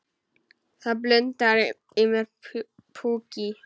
Það blundar í mér púki.